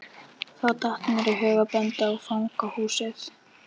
Þá datt mér í hug að benda á fangahúsið.